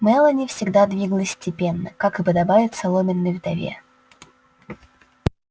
мелани всегда двигалась степенно как и подобает соломенной вдове